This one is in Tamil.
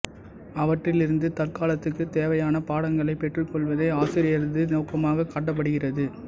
அவற்றிலிருந்து தற்காலத்துக்குத் தேவையான பாடங்களைப் பெற்றுக்கொள்வதே ஆசிரியரது நோக்கமாகக் காட்டப்படுகிறது